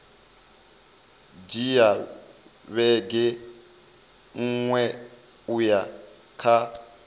dzhia vhege nṋa uya kha